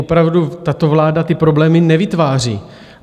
Opravdu, tato vláda ty problémy nevytváří.